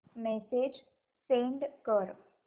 message send कर